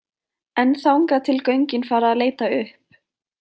En þangað til göngin fara að leita upp?